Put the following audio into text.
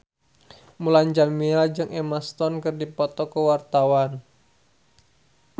Mulan Jameela jeung Emma Stone keur dipoto ku wartawan